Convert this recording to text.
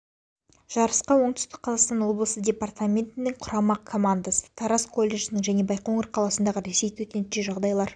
жарысқа оңтүстік қазақстан облысы департаментінің құрама командасы тараз колледжінің және байқоңыр қаласындағы ресей төтенше жағдайлар